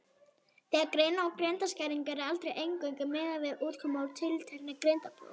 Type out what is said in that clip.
Þegar greina á greindarskerðingu er aldrei eingöngu miðað við útkomu úr tilteknu greindarprófi.